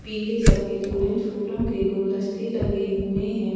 पीले सफेद ऑरेंज फूलों के गुलदस्ते लगे हुए हैं।